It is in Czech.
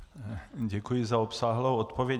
Děkuji za obsáhlou odpověď.